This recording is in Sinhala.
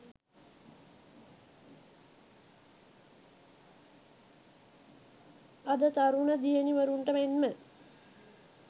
අද තරුණ දියණිවරුන්ට මෙන්ම